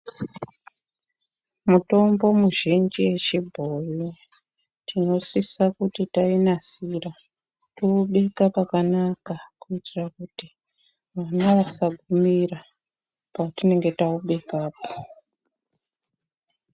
Mitombo mizhinji yechibhoyi tinosise kuti tainasira toibeka pakanaka kuitira kuti vana vasagumira patinenge taibekapo.